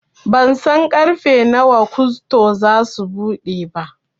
Bansan ƙarfe nawa gusto zasu buɗe ba